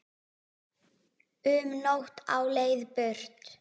Um nótt á leið burt